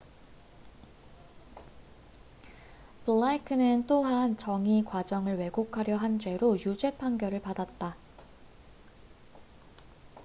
블레이크는 또한 정의 과정을 왜곡하려 한 죄로 유죄판결을 받았다